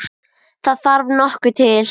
Það þarf nokkuð til!